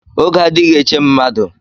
Oge adịghị eche mmadụ.